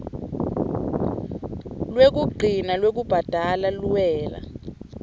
lwekugcina lwekubhadala luwela